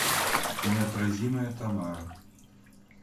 неотразимая тамара